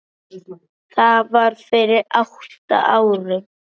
Það var fyrir átta árum.